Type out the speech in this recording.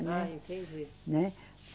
Né. Ah, entendi. Né.